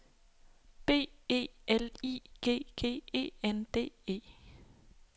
B E L I G G E N D E